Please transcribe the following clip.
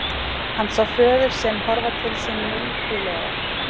Hann sá föður sinn horfa til sín mildilega.